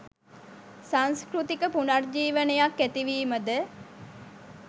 සංස්කෘතික පුනර්ජීවනයක් ඇතිවීම ද